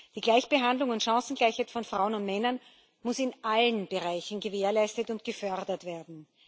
Die Gleichbehandlung und Chancengleichheit von Frauen und Männern muss in allen Bereichen gewährleistet und gefördert werden.